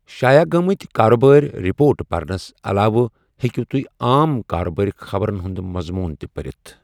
شایع گٔمٕت کارٕبٲرۍ رِپورٹ پرنَس علاوٕ ہیکِو تُہۍ عام کارٕبٲرۍ خبرَن ہنٛد مَضموٗن تہِ پٔرِتھ ۔